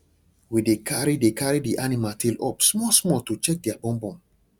we dey carry dey carry the animal tail up small small to check their bum bum